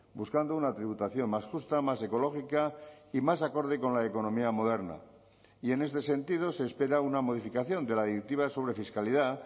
buscando una tributación más justa más ecológica y más acorde con la economía moderna y en este sentido se espera una modificación de la directiva sobre fiscalidad